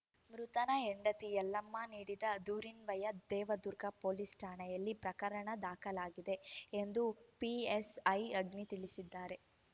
ಮೃತನ ಹೆಂಡತಿ ಯಲ್ಲಮ್ಮ ನೀಡಿದ ದೂರಿನ್ವಯ ದೇವದುರ್ಗ ಪೊಲೀಸ್‌ ಠಾಣೆಯಲ್ಲಿ ಪ್ರಕರಣ ದಾಖಲಾಗಿದೆ ಎಂದು ಪಿಎಸ್‌ಐ ಅಗ್ನಿ ತಿಳಿಸಿದ್ದಾರೆ